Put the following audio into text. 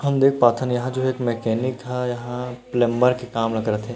हम देख पाथन यहाँ जो है एक मेकेनिक ह यहाँ प्लम्बर के काम करत हे।